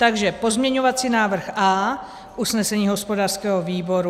Takže pozměňovací návrh A - usnesení hospodářského výboru.